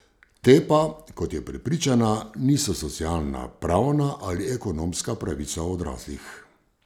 Te pa, kot je prepričana, niso socialna, pravna ali ekonomska pravica odraslih.